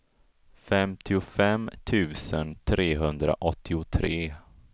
femtiofem tusen trehundraåttiotre